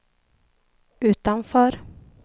utanför